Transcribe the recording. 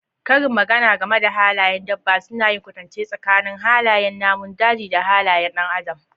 Karin magana game da halayyar dabba suna yin kwatance tsakanin halayen namun daji da halayen ɗan adam.